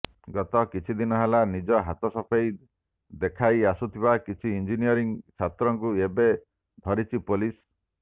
ଗତ କିଛି ଦିନହେଲା ନିଜ ହାତସଫେଇ ଦେଖାଇ ଆସୁଥିବା କିଛି ଇଞ୍ଜିନିୟରିଂ ଛାତ୍ରଙ୍କୁ ଏବେ ଧରିଛି ପୋଲିସ